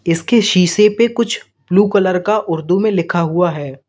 इसके शीशे पे कुछ ब्लू कलर का उर्दू में लिखा हुआ है।